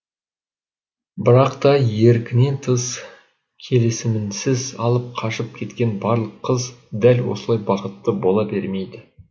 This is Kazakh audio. бірақ та еркінен тыс келісімінсіз алып қашып кеткен барлық қыз дәл осылай бақытты бола бермейді